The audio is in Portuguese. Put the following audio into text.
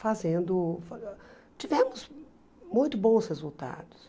Fazendo tivemos muito bons resultados.